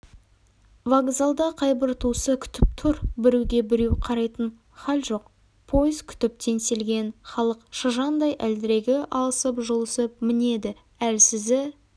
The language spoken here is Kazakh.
вокзалда қайбір туысы күтіп тұр біреуге-біреу қарайтын хал жоқ пойыз күтіп теңселген халық шыжандай әлдірегі алысып-жұлысып мінеді әлсізі